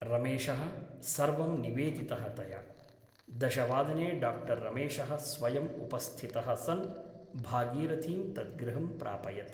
रमेशः सर्वं निवेदितः तया । दशवादने डाक्टर् रमेशः स्वयम् उपस्थितः सन् भागीरथीं तद् गृहं प्रापयत् ।